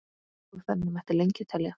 Og þannig mætti lengi telja.